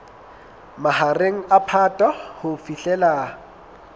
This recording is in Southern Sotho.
mahareng a phato ho fihlela